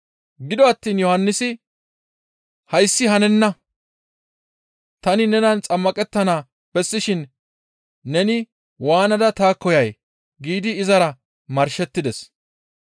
Gido attiin Yohannisi, «Hayssi hanenna; tani nenan xammaqettana bessishin neni waanada taakko yay?» giidi izara marshettides.